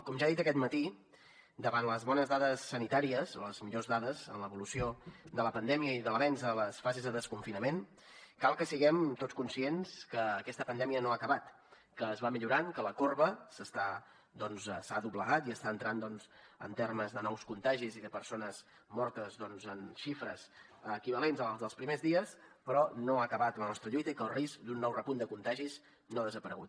com ja ha dit aquest matí davant les bones dades sanitàries o les millors dades en l’evolució de la pandèmia i de l’avenç a les fases de desconfinament cal que siguem tots conscients que aquesta pandèmia no ha acabat que es va millorant que la corba s’ha doblegat i està entrant doncs en termes de nous contagis i de persones mortes en xifres equivalents a les dels primers dies però no ha acabat la nostra lluita i que el risc d’un nou repunt de contagis no ha desaparegut